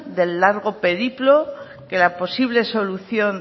del largo periplo que la posible solución